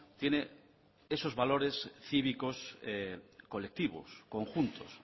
tiene esos valores cívicos colectivos conjuntos